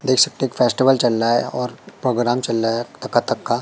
देख सकते हैं फेस्टिवल चल रहा है और प्रोग्राम चल रहा है कथक का--